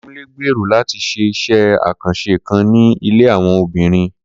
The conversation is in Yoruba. Kunle gbèrò láti ṣé iṣẹ àkànṣe kan ní ilé àwọn abirùn